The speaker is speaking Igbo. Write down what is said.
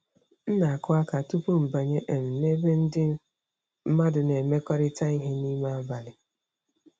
M na-akụ aka tupu m abanye um n'ebe ndị mmadụ na-emekọrịta ihe n'ime abalị.